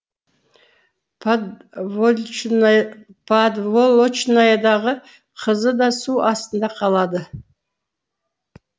подволочнаядағы қызы да су астында қалады